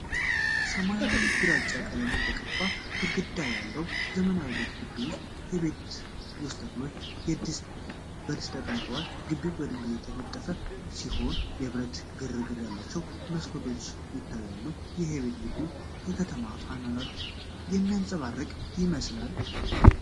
ሰማያዊና ግራጫ ቀለም የተቀባ ግድግዳ ያለው ዘመናዊ ቤት ግቢ ውስጥ፣ የቤት ውስጥ ተክሎች በድስት ተቀምጠዋል። ግቢው በድንጋይ የተነጠፈ ሲሆን፣ የብረት ፍርግርግ ያላቸው መስኮቶች ይታያሉ። ይህ የቤት ግቢ የከተማ አኗኗርን የሚያንፀባርቅ ይመስላል?